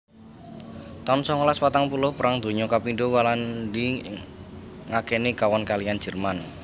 taun songolas patang puluh Perang Donya kapindho Walandi ngakeni kawon kaliyan Jerman